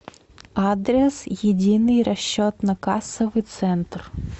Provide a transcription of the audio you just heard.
адрес единый расчетно кассовый центр